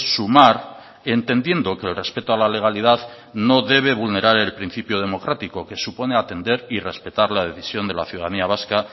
sumar entendiendo que el respeto a la legalidad no debe vulnerar el principio democrático que supone atender y respetar la decisión de la ciudadanía vasca